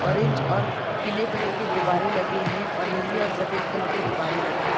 Orange और पीले colour के गुब्बारे लगे हैं और नीले और सफ़ेद कलर के गुब्बारे लगे हैं ।